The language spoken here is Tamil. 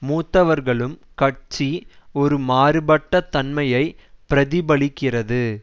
மூத்தவர்களும் கட்சி ஒரு மாறுபட்ட தன்மையை பிரதிபலிக்கிறது